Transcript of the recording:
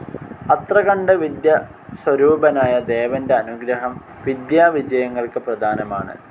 അത്രകണ്ട് വിദ്യസ്വരൂപനായ ദേവൻ്റെ അനുഗ്രഹം വിദ്യാവിജയങ്ങൾക്ക് പ്രധാനമാണ്